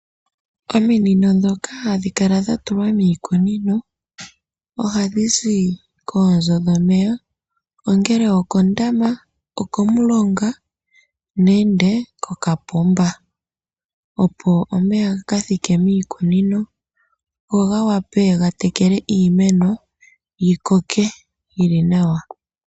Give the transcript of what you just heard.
Ominino ndhoka hadhikala dhatulwa miikunino ohadhizi koonzo dhomeya ongele okondama, okomulonga nenge kokapomba opo omeya gakathike miikunino go gawape gatekele iimeno yikoke yili nawa.